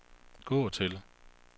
gå til